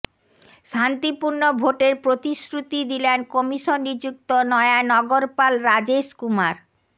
শান্তিপূর্ণ ভোটের প্রতিশ্রুতি দিলেন কমিশন নিযুক্ত নয়া নগরপাল রাজেশকুমার